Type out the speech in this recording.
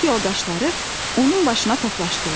Sinif yoldaşları onun başına toplaşdılar.